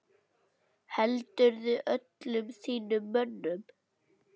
Heldurðu öllum þínum mönnum?